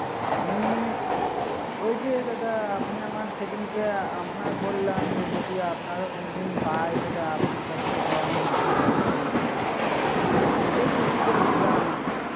আমি ওই যে দাদা আপনি আমার সেদিনকার আপনাকে বললাম যে আপনারে কোন দিন পাই তাহলে আপনার কাছ থেকে মাটির বাড়ি বানাবো সেই টুপি পড়ে ছিলা।